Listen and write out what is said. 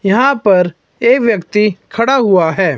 यहां पर एक व्यक्ति खड़ा हुआ है।